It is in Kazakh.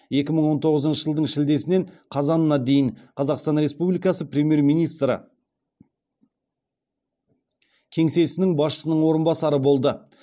екі мың он тоғызыншы жылдың шілдесінен қазанына дейін қазақстан республикасы премьер министрі кеңсесінің басшысының орынбасары болды